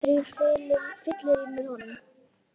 Þá fór ég aftur á fyllerí með honum.